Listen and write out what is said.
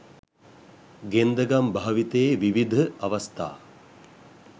ගෙන්දගම් භාවිතයේ විවිධ අවස්ථා